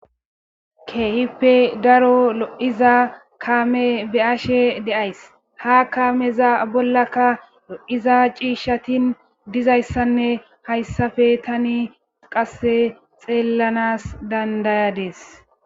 keehippe daro lo7iza kaame be ashe de7ays ha kaameza bollaka lo7iza ciishshatin dizayssanne hayssafe tani qasse xeellanas dandayades